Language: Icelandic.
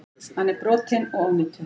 Hann er brotinn og ónýtur.